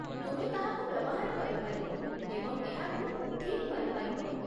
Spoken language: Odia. ତୁମେ ତାହାକୁ ବ୍ୟବହାର କରିପାରିବ ଏବଂ ଏହାକୁ ଠିକ୍ କରିପାରିବ।